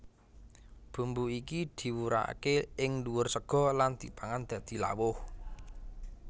Bumbu iki diwurake ing ndhuwur sega lan dipangan dadi lawuh